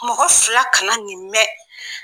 Mɔgɔ fila kana nin mɛn